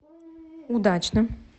удачным